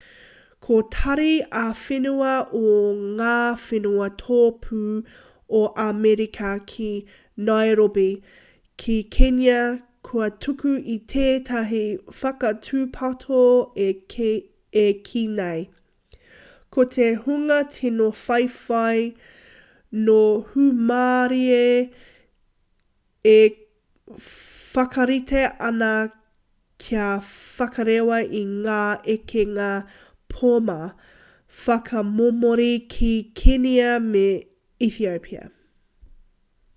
ko tari ā-whenua o ngā whenua tōpū o amerika ki nairobi ki kenya kua tuku i tētahi whakatūpato e kī nei ko te hunga tino whawhai nō hūmārie e whakarite ana kia whakarewa i ngā ekenga poma whakamomori ki kenia me etiopia